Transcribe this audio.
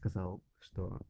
сказал